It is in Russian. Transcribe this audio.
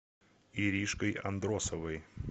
иришкой андросовой